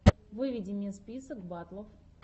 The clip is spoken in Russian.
выведи мне список батлов